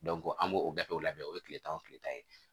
an b'o gafew labɛn o ye tile tan o tile tan ye